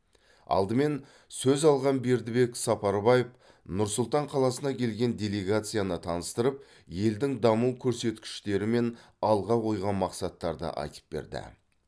алдымен сөз алған бердібек сапарбаев нұр сұлтан қаласынан келген делегацияны таныстырып елдің даму көрсеткіштері мен алға қойған мақсаттарды айтып берді